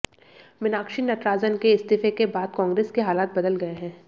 मीनाक्षी नटराजन के इस्तीफे के बाद कांग्रेस के हालात बदल गए हैं